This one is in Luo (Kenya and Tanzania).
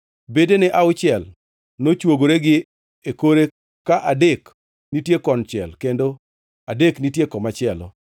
Bedene auchiel nochwogore gi e kore ka adek nitie konchiel kendo adek nitie komachielo.